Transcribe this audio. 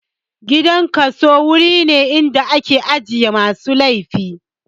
Gidan kaso wuri ne da ake aje masu laifi